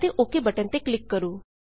ਅਤੇ okay okay button ਤੇ click ਕਰੋ